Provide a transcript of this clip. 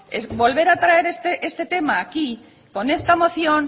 volver a traer este tema aquí con esta moción